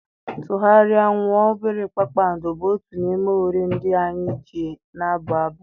Tụgharịa! nwuo!! obere kpakpando, bụ otu n’ime uri ndị anyị ji na-abụ abụ.